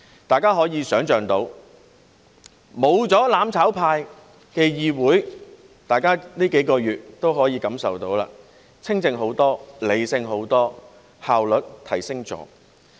大家可以想象，沒有"攬炒派"的議會情況會怎樣，大家在這數個月也可以感受到，是清靜得多、理性得多，效率亦有所提升。